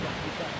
Qardaşım.